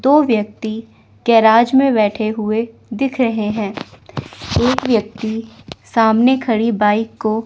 दो व्यक्ति गैराज में बैठे हुए दिख रहे है। एक व्यक्ति सामने खड़ी बाइक को--